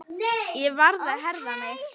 Ég varð að herða mig.